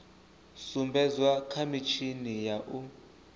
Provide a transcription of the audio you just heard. sumbedzwa kha mitshini ya u